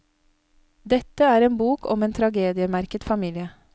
Dette er en bok om en tragediemerket familie.